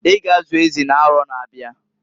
I ga azu ezi n'aro na-abiaǃ